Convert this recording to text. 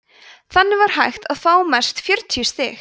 þannig var hægt að fá mest fjörutíu stig